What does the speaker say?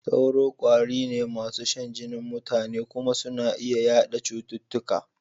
Sauro ƙwari ne masu shan jinin mutane kuma suna iya yaɗa cututtuka.